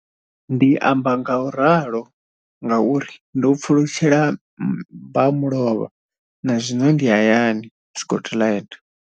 Ndi amba ngauralo nga uri ndo pfulutshela mbamulovha na zwino ndi hayani, Scotland.